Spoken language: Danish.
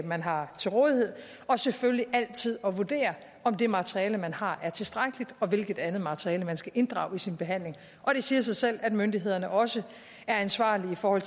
man har til rådighed og selvfølgelig altid at vurdere om det materiale man har er tilstrækkeligt og hvilket andet materiale man skal inddrage i sin behandling og det siger sig selv at myndighederne også er ansvarlige for